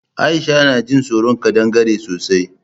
Aisha na jin tsoron ƙadangare sosai